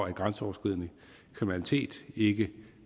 at grænseoverskridende kriminalitet ikke